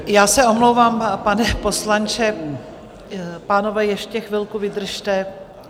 Já se omlouvám, pane poslanče, pánové, ještě chvilku vydržte.